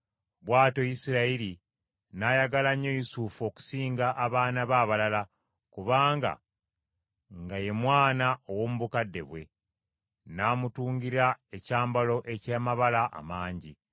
Bw’atyo Isirayiri n’ayagala nnyo Yusufu okusinga abaana be abalala, kubanga nga ye mwana ow’omu bukadde bwe; n’amutungira ekyambalo eky’amabala amangi.